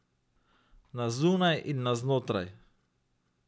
Na zunaj in na znotraj.